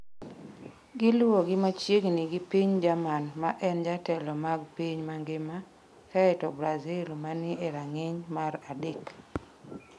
Giluwogi machiegni gi piny Germany ma en jatelo mag piny mangima, kae to Brazil ma ni e rang’iny mar adek.